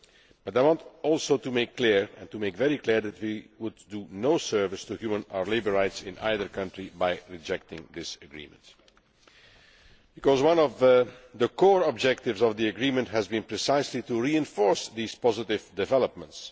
But I also want to make very clear that we would do no service to human or labour rights in either country by rejecting this agreement, because one of the core objectives of the agreement has been, precisely, to reinforce these positive developments.